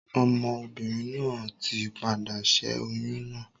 Ọmọ obìnrin náà ti padà ṣẹ́ oyún náà.